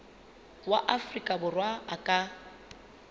wa afrika borwa a ka